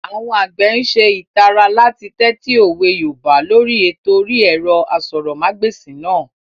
Àwọn àgbẹ̀ n ṣe ìtara láti tẹ́tí òwe yoòbá lóri ètò orí ẹ̀rọ asọ̀rọ̀mágbèsì náà